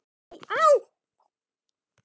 Nei, Rósa mín.